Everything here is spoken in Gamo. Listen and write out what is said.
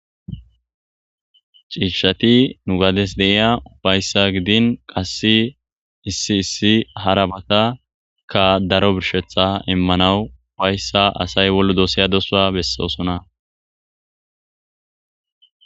Ciishati nu gades deiya ufayssa gidin qasse issi issi harabata ka daro birshetha immanawu ufayssa asay wollu dooseya dosa bessoosona.